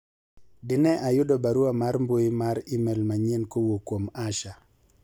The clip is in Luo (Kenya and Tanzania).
dine ayudo barua mar mbui mar email manyien kowuok kuom Asha